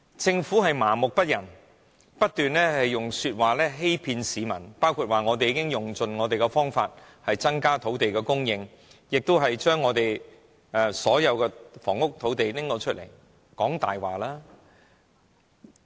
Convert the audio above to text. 政府麻木不仁，不斷欺騙市民說已用盡方法增加土地供應，又說已撥出所有房屋土地，全是謊話。